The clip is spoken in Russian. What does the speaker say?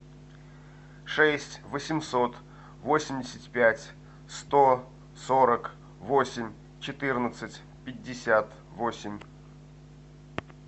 шесть восемьсот восемьдесят пять сто сорок восемь четырнадцать пятьдесят восемь